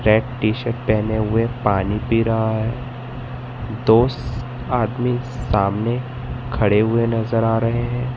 Red T shirt पहने हुए पानी पी रहा है दो आदमी सामने खड़े हुए नजर आ रहे हैं।